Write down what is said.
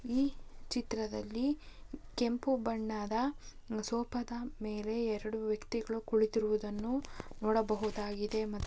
ಈ ಚಿತ್ರದಲ್ಲಿ ಕೆಂಪು ಬಣ್ಣದ ಸೋಫಾದ ಮೇಲೆ ಎರೆಡು ವ್ಯಕ್ತಿಗಳು ಕುಳಿತಿರುವುದನ್ನು ನೋಡಬಹುದಾಗಿದೆ ಮ---